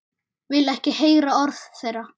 Vil ekki heyra orð þeirra.